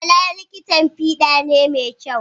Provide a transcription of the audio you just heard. Bala likitan fiɗa ne mai kyau.